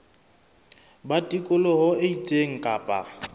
ba tikoloho e itseng kapa